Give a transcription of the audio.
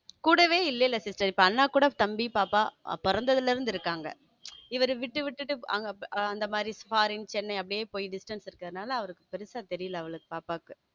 கூடவே இல்ல sister அண்ணா கூட தம்பி பாப்பா பிறந்ததிலிருந்து இருக்காங்க இவர் விட்டு விட்டுஅவரு அங்க மாறி ஃபாரின் சென்னை அப்படியே distance அதனால அப்படியே பெருசா தெரியல அவளுக்கு பாப்பாவுக்கு.